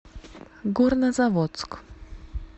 горнозаводск